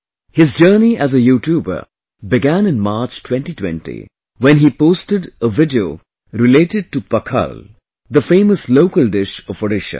His journey as a YouTuber began in March 2020 when he posted a video related to Pakhal, the famous local dish of Odisha